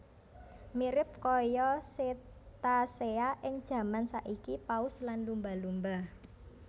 Mirip kaya cetacea ing jaman saiki paus lan lumba lumba